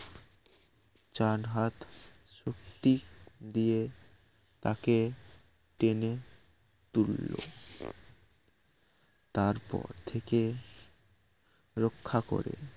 চান হাত শক্তি দিয়ে তাকে টেনে তুলল তারপর থেকে রক্ষা করে